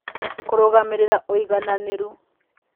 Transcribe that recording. Kũrũgamĩrĩra Ũigananĩru